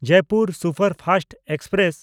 Jaipur superfast express